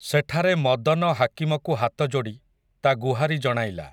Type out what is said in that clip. ସେଠାରେ ମଦନ ହାକିମକୁ ହାତଯୋଡ଼ି, ତା ଗୁହାରି ଜଣାଇଲା ।